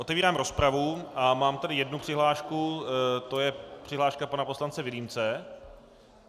Otevírám rozpravu a mám tady jednu přihlášku, to je přihláška pana poslance Vilímce.